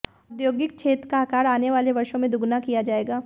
औद्योगिक क्षेत्र का आकार आने वाले वर्षों में दोगुना किया जाएगा